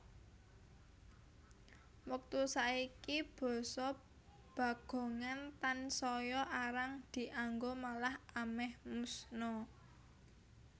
Wektu saiki basa Bagongan tansaya arang dianggo malah amèh musna